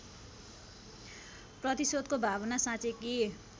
प्रतिशोधको भावना साँचेकी